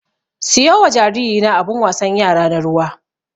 Siyo wa jariri na abun wasan yara na ruwa.